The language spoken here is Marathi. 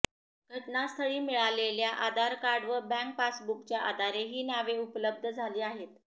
घटनास्थळी मिळालेल्या आधार कार्ड व बँक पासबुक च्या आधारे हि नावे उपलब्ध झाली आहेत